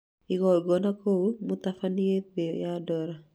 Ingĩona kũũ mũtabania thĩ ya dola